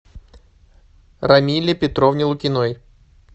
рамиле петровне лукиной